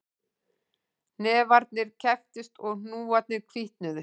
Hnefarnir krepptust og hnúarnir hvítnuðu